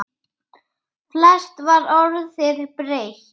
Flest var orðið breytt.